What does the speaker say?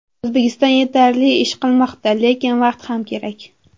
O‘zbekiston yetarli ish qilmoqda, lekin vaqt ham kerak.